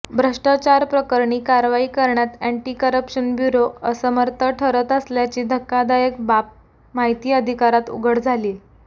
भ्रष्टाचारप्रकरणी कारवाई करण्यात anti corruption bureau असमर्थ ठरत असल्याची धक्कादायक बाब माहिती अधिकारात उघड झालीय